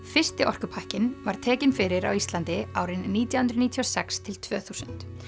fyrsti orkupakkinn var tekinn fyrir á Íslandi árin nítján hundruð níutíu og sex til tvö þúsund